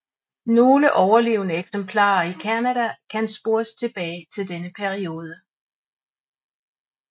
Nogle overlevende eksemplarer i Canada kan spores tilbage til denne periode